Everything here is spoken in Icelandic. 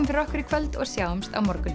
fyrir okkur í kvöld og sjáumst á morgun